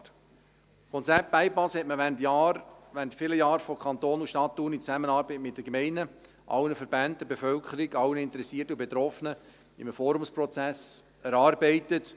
Das Konzept Bypass wurde während vielen Jahren vom Kanton und von der Stadt Thun in Zusammenarbeit mit den Gemeinden, allen Verbänden, der Bevölkerung, allen Interessierten und Betroffenen in einem Forumsprozess erarbeitet.